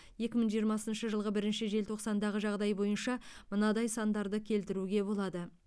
екі мың жиырмасыншы жылғы бірінші желтоқсандағы жағдай бойынша мынадай сандарды келтіруге болады